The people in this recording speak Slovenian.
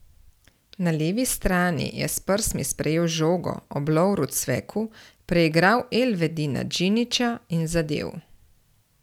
Na levi strani je s prsmi sprejel žogo ob Lovru Cveku, preigral Elvedina Džinića in zadel.